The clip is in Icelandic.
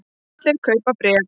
Allir að kaupa bréf